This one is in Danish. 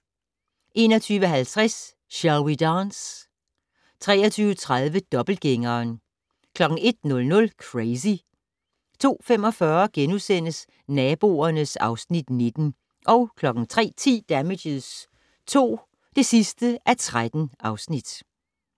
21:50: Shall We Dance? 23:30: Dobbeltgængeren 01:00: Crazy 02:45: Naboerne (Afs. 19)* 03:10: Damages II (13:13)